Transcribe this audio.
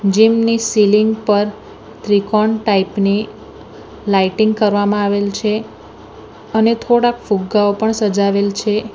Gym ની ceiling પર ત્રિકોણ ટાઇપ ની લાઇટિંગ કરવામાં આવેલ છે અને થોડાક ફુગ્ગાઓ પણ સજાવેલ છે.